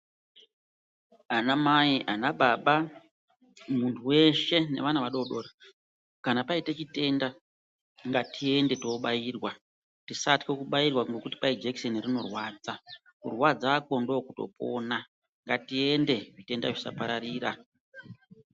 Ana mai ana baba muntu weshe nevana vadodori kana paita chitenda ngatiende tinobairwa tisatya kubairwa ngenda yekuti jekiseni rinorwadza, kurwadzakwo ndokutopona ngatiende zvitenda zvisapararira.